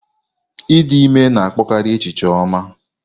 Ịdị ime na-akpọkarị echiche ọma.